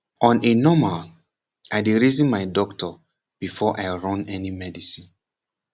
on a normal i dey reason my doctor before i run any medicine